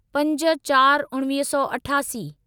पंज चार उणिवीह सौ अठासी